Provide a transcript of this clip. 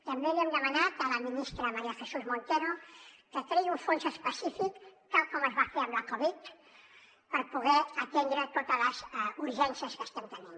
també li hem demanat a la ministra maría jesús montero que creï un fons específic tal com es va fer amb la covid per poder atendre totes les urgències que estem tenint